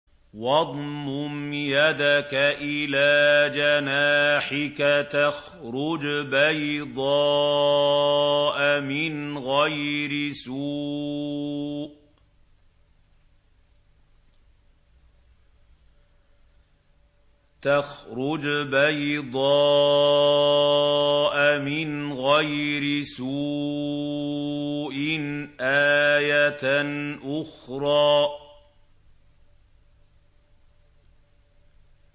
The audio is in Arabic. وَاضْمُمْ يَدَكَ إِلَىٰ جَنَاحِكَ تَخْرُجْ بَيْضَاءَ مِنْ غَيْرِ سُوءٍ آيَةً أُخْرَىٰ